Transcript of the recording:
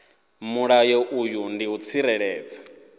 mulayo uyu ndi u tsireledza